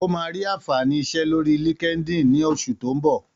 Ó máa rí àǹfààní iṣẹ́ lórí LinkedIn ní oṣù tó ń bọ̀.